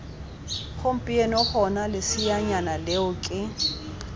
gompieno gona leseanyana leo ke